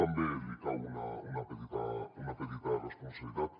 també li cau una petita responsabilitat